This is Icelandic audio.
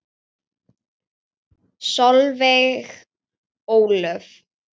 Solveig Ólöf.